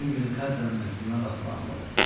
Bütün günü Katyanın məktubuna baxıb ağladım.